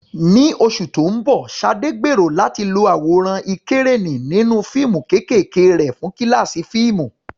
Ní oṣù tó ń bọ̀, Sade gbèrò láti lo àwòrán ìkẹ́rẹ́nì nínú fíìmù kéékèèké rẹ̀ fún kíláàsì fíìmù.